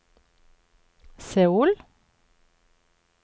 Seoul